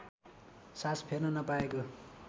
सास फेर्न नपाएको